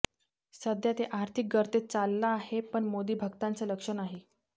सध्या देश आर्थिक गर्तेत चालला आहे पण मोदी भक्तांचं लक्ष नाही